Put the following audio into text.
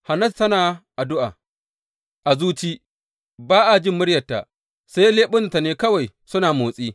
Hannatu tana addu’a a zuci, ba a jin muryarta, sai leɓunanta ne kawai suna motsi.